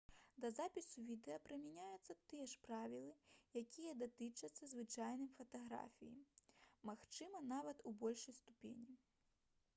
да запісу відэа прымяняюцца тыя ж правілы якія датычацца звычайнай фатаграфіі магчыма нават у большай ступені